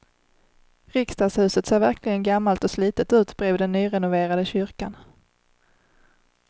Riksdagshuset ser verkligen gammalt och slitet ut bredvid den nyrenoverade kyrkan.